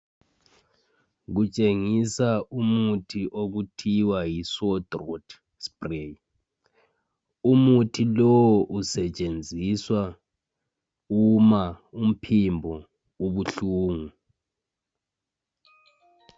Kutshengisa umuthi okuthiwa yisore throat spray. Umuthi lowo usetshenziswa uma umphimbo ubuhlungu.